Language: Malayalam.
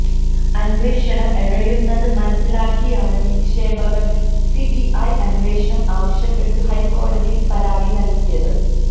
അന്വേഷണം എഴയുന്നത് മനസിലാക്കിയാണ് നിക്ഷേപകർ സിബിഐ അന്വേഷണം ആവശ്യപ്പെട്ടു ഹൈക്കോടതിയിൽ പരാതി നൽകിയത്